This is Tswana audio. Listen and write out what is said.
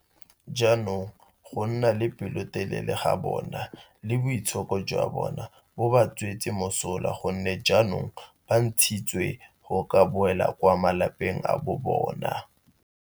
Jaanong go nna le pelotelele ga bona le boitshoko jwa bona bo ba tswetse molemo go nne jaanong ba ntshitswe go ka boela kwa malapeng a bobona.